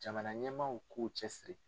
Jamana ɲɛmaa k'u cɛsiri.